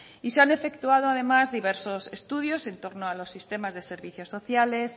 y se han efectuado además diversos estudios en torno a los sistemas de servicios sociales